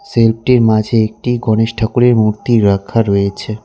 Self -টির মাঝে একটি গণেশ ঠাকুরের মূর্তি রাখা রয়েছে।